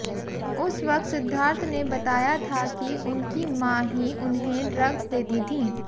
उस वक्त सिद्धार्थ ने बताया था कि उनकी मां ही उन्हें ड्रग्स देती थीं